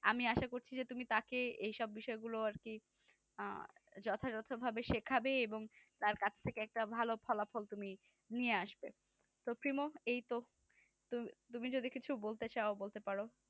আমি আশা করছি যে তুমি তাকে এসব বিষয়গুলো আর কে যথাযথভাবে শেখাবে এবং তার কাছ থেকে একটা ভাল ফলাফল তুমি নিয়ে আসবে এইতো তুমি যদি কিছু বলতে চাও বলতে পারো